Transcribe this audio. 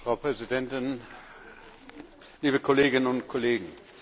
Frau Präsidentin, liebe Kolleginnen und Kollegen!